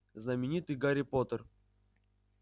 знаменитый гарри поттер